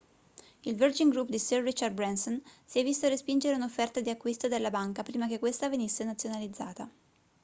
il virgin group di sir richard branson si è visto respingere un'offerta di acquisto della banca prima che questa venisse nazionalizzata